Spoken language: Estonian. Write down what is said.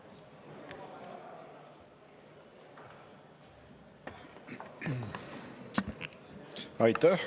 Aitäh!